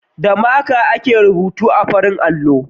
Da maka ake rubutu a farin allo.